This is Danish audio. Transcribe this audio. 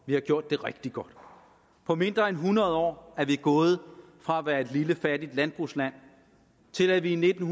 har gjort det rigtig godt på mindre end hundrede år er vi gået fra at være et lille fattigt landbrugsland til at vi i nitten